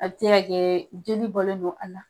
A be se ka kɛ joli bɔlen don kɔnɔ